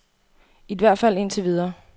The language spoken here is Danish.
I hvert fald indtil videre.